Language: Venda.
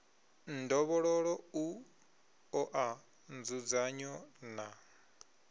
ndovhololo u oa nzudzanyo na